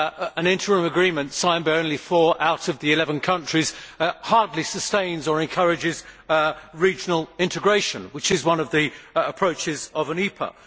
An interim agreement signed by only four out of the eleven countries hardly sustains or encourages regional integration, which is one of the approaches of an EPA.